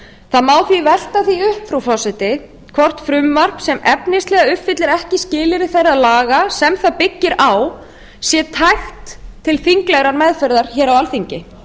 það má því velta því upp frú forseti hvort frumvarp sem efnislega uppfyllir ekki skilyrði þeirra laga sem það byggir á sé tækt til þinglegrar meðferðar á alþingi